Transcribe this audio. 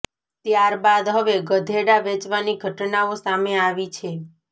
ત્યાર બાદ હવે ગધેડા વેચવાની ઘટનાઓ સામે આવી છે